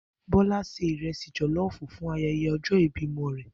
Bó̩lá se ìre̩sì jò̩ló̩ò̩fù fún aye̩ye̩ o̩jó̩ ìbí o̩mo̩ rè̩